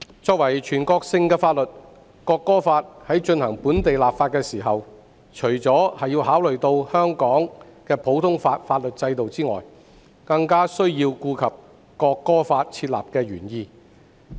作為全國性法律，《國歌法》在進行本地立法時，除了考慮到香港的普通法法律制度外，更需要顧及訂立《國歌法》的原意。